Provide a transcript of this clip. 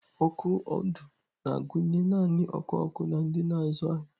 Ọkụ ọdụ na-agụnye naanị ọkụ ọkụ na ndị na-azụ ahịa.